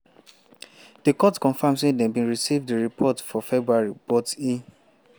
di court confam say dem bin receive di report for february but e